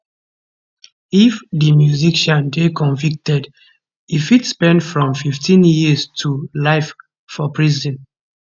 if di musician dey convicted e fit spend from 15 years to life for prison